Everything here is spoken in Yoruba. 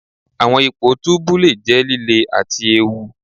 Awọn ipo tubu le jẹ lile ati eewu.